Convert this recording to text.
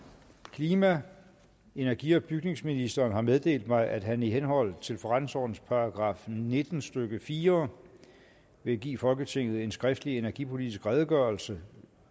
klima energi og bygningsministeren har meddelt mig at han i henhold til forretningsordenens § nitten stykke fire vil give folketinget en skriftlig energipolitisk redegørelse